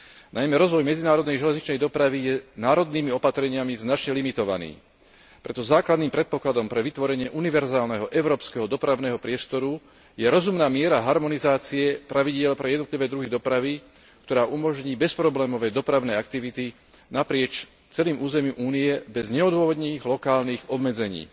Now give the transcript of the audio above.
Najmä rozvoj medzinárodnej železničnej dopravy je národnými opatreniami značne limitovaný. Preto základným predpokladom pre vytvorenie univerzálneho európskeho dopravného priestoru je rozumná miera harmonizácie pravidiel pre jednotlivé druhy dopravy, ktorá umožní bezproblémové dopravné aktivity naprieč celým územím Únie bez neodvodnených lokálnych obmedzení.